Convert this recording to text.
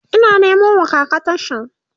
Ina Nemo wa kaka tashan